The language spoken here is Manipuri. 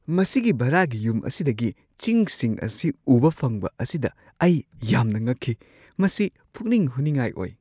ꯃꯁꯤꯒꯤ ꯚꯥꯔꯥꯒꯤ ꯌꯨꯝ ꯑꯁꯤꯗꯒꯤ ꯆꯤꯡꯁꯤꯡ ꯑꯁꯤ ꯎꯕ ꯐꯪꯕ ꯑꯁꯤꯗ ꯑꯩ ꯌꯥꯝꯅ ꯉꯛꯈꯤ ꯫ ꯃꯁꯤ ꯄꯨꯛꯅꯤꯡ ꯍꯨꯅꯤꯡꯉꯥꯏ ꯑꯣꯏ ꯫